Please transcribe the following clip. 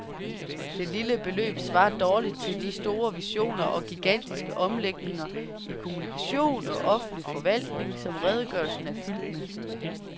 Det lille beløb svarer dårligt til de store visioner og gigantiske omlægninger i kommunikation og offentlig forvaltning, som redegørelsen er fyldt med.